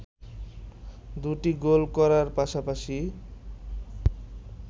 দুটি গোল করার পাশাপাশি